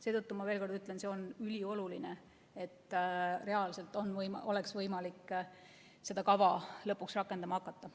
Seetõttu ma ütlen veel kord: see on ülioluline, et reaalselt on võimalik seda kava lõpuks rakendama hakata.